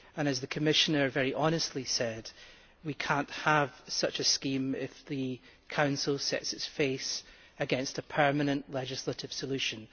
As the Commissioner very honestly said, we cannot have such a scheme if the Council sets its face against a permanent legislative solution.